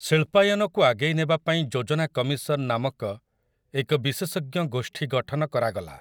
ଶିଳ୍ପାୟନକୁ ଆଗେଇ ନେବା ପାଇଁ ଯୋଜନା କମିଶନ ନାମକ ଏକ ବିଶେଷଜ୍ଞ ଗୋଷ୍ଠୀ ଗଠନ କରାଗଲା।